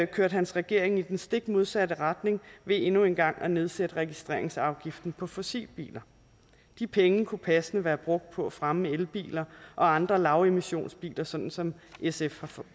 kørte hans regering i den stik modsatte retning ved endnu en gang at nedsætte registreringsafgiften på fossilbiler de penge kunne passende være brugt på at fremme elbiler og andre lavemissionsbiler sådan som sf